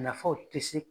Nafaw tɛ se